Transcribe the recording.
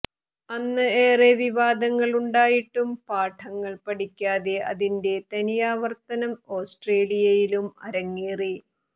അന്ന് ഏറെ വിവാദങ്ങൾ ഉണ്ടായിട്ടും പാഠങ്ങൾ പഠിക്കാതെ അതിന്റെ തനിയാവർത്തനം ഓസ്ട്രേലിയയിലും അരങ്ങേറി